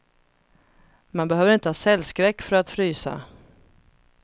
Man behöver inte ha cellskräck för att frysa.